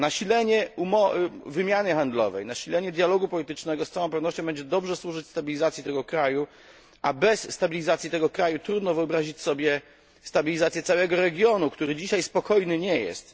Nasilenie wymiany handlowej, nasilenie dialogu politycznego z całą pewnością będzie dobrze służyć stabilizacji tego kraju, a bez stabilizacji tego kraju trudno wyobrazić sobie stabilizację całego regionu, który dzisiaj spokojny nie jest.